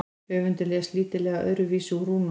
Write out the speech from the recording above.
höfundur les lítillega öðruvísi úr rúnunum